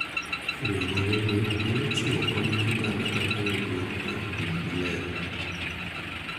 Riwruoge gi nyalo chiwo kony ne oganda kaka yudruok mar pii maler